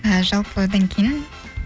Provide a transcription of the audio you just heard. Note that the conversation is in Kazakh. жалпы одан кейін